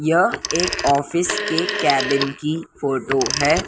यह एक ऑफिस के कैबिन की फोटो है।